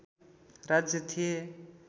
राज्य थिए